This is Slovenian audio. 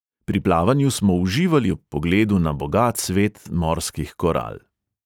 Pri plavanju smo uživali ob pogledu na bogat svet morskih koral.